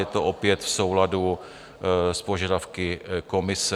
Je to opět v souladu s požadavky komise.